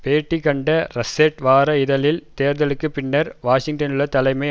பேட்டி கண்ட ரஸ்ஸெர்ட் வார இதழில் தேர்தலுக்கு பின்னர் வாஷிங்டனிலுள்ள தலைமை